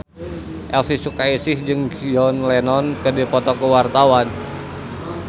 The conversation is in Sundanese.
Elvi Sukaesih jeung John Lennon keur dipoto ku wartawan